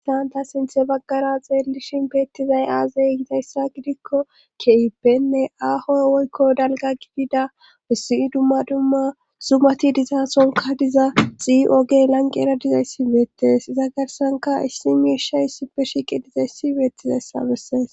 Haysan ta sinthe baggara xeellishin beettizay aazey yitayssa gidikko kee7ippenne aaho woykko dalga gididabessi dumma dumma zumati dizasonka diza xii7ogey lanqi era dizayssi beettes iza garsanka issi miirsha issipe shiqi dizayssi beettizayssa bessees